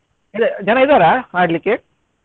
ಇದ್ ಜನ ಇದ್ದಾರಾ ಆಡ್ಲಿಕ್ಕೆ?